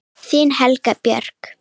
Þín Helga Björk.